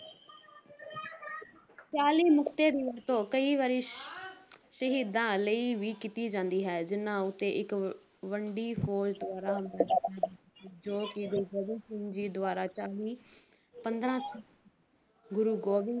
ਚਾਲੀ ਮੁਕਤੇ ਦੀ ਵਰਤੋਂ ਕਈ ਵਾਰੀ ਸ਼ਹੀਦਾਂ ਲਈ ਵੀ ਕੀਤੀ ਜਾਂਦੀ ਹੈ ਜਿਨ੍ਹਾਂ ਉੱਤੇ ਇੱਕ ਵ~ ਵੱਡੀ ਫ਼ੌਜ ਦੁਆਰਾ ਜੋ ਕਿ ਗੁਰੂ ਗੋਬਿੰਦ ਸਿੰਘ ਦੁਆਰਾ ਚਾਲੀ ਪੰਦਰਾਂ, ਗੁਰੂ ਗੋਬਿੰਦ